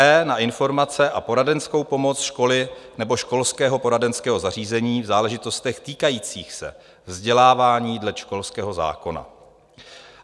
e) na informace a poradenskou pomoc školy nebo školského poradenského zařízení v záležitostech týkajících se vzdělávání dle školského zákona."